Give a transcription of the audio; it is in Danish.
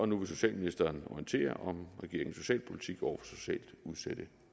nu vil socialministeren orientere om regeringens socialpolitik over for socialt udsatte